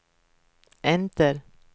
enter